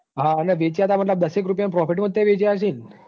હા ન વેચ્યા તા એટલે દસેક રૂપિયા ના profit વેચ્યા હસેન.